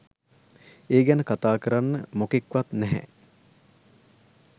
ඒ ගැන කතා කරන්න මොකෙක් වත් නැහැ